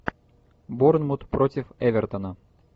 борнмут против эвертона